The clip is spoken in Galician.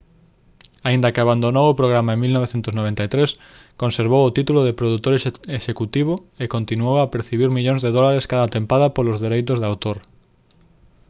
aínda que abandonou o programa en 1993 conservou o título de produtor executivo e continuou a percibir millóns de dólares cada tempada polos dereitos de autor